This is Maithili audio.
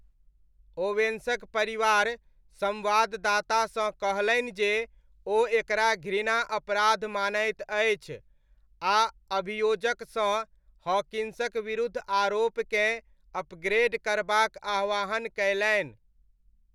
ओवेन्सक परिवार संवाददातासँ कहलनि जे ओ एकरा घृणा अपराध मानैत अछि आ अभियोजकसँ हॉकिन्सक विरुद्ध आरोपकेँ अपग्रेड करबाक आह्वान कयलनि।